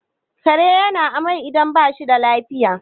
kare yana amai idan ba shi da lafiya